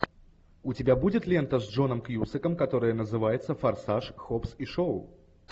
у тебя будет лента с джоном кьюсаком которая называется форсаж хоббс и шоу